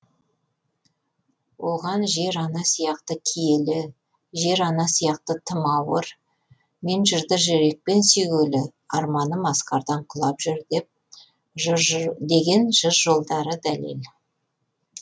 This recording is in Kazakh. оған жер ана сияқты киелі жер ана сияқты тым ауыр мен жырды жүрекпен сүйгелі арманым асқардан құлап жүр деп деген жыр жолдары дәлел